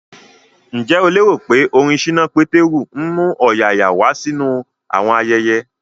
Ǹjẹ́ o lérò pé orin ṣínà Pétérù ń mú ọ̀yààyà wá sínú àwọn ayẹyẹ?